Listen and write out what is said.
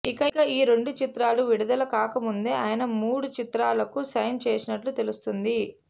ఇక ఈ రెండు చిత్రాలు విడుదల కాక ముందే ఆయన మూడు చిత్రాలకు సైన్ చేసినట్లు తెలుస్తుంది